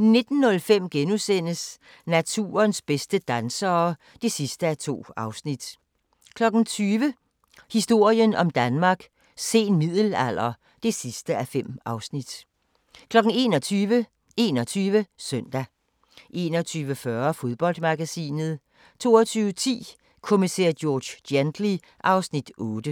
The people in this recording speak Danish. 19:05: Naturens bedste dansere (2:2)* 20:00: Historien om Danmark: Sen middelalder (5:5) 21:00: 21 Søndag 21:40: Fodboldmagasinet 22:10: Kommissær George Gently (Afs. 8)